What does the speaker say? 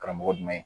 Karamɔgɔ jumɛn